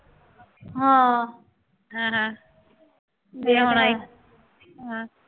ਹਾਂ ਹੈ ਨਾ ਅਤੇ ਹੁਣ ਹਾਂ